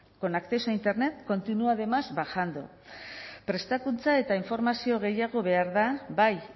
con acceso a internet continúa además bajando prestakuntza eta informazio gehiago behar da bai